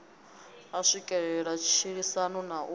a swikelele matshilisano na u